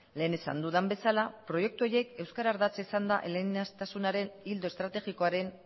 lehen esan dudan bezala proiektu horiek euskara ardatza izanda eleaniztasunaren ildo estrategikoaren